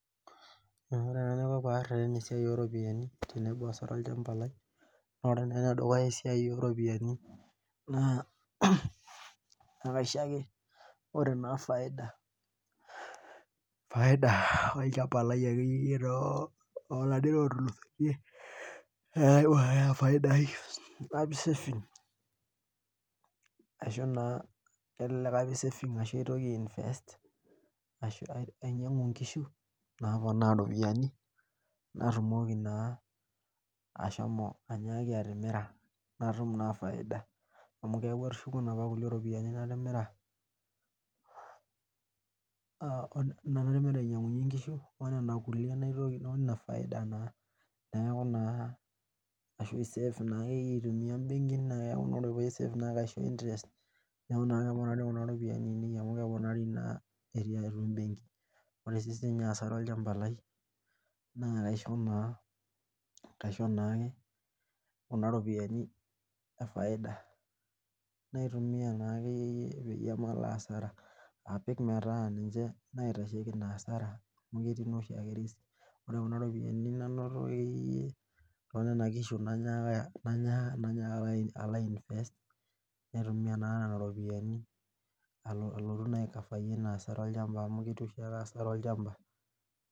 Oore enaiko peeareren esiai ooropiyiani tenebo asara olchamba naa ore eisiai ooropiyiani naakaisho ake ore naa faida olchamba lai olapaitin ootulusoiti napik saving ashuu naa aitoki ainvest ashu ainyiang'u inkishu napoona iropiyiani natumiki naa shomo atimira ashuku faida amu ore nena nainyiangunyie inkishu onena efaidia naitoki neeku ashua naa aisafe te benki amu ore naa kuna ropiyiani ainei keponari eimu benki ore asara olchamba lai naa kaisho naa kuna ropiyiani efaida naitumiya naa ekeyie peemalo asara metaa ninche naitasheki hasara ore kuna ropiyiani nanoto akeyie toonenakishu naanyaaka alo ai invest naa nena ropiyiani alotu aikafayie hasara olchamba amu ketii Hasara olchamba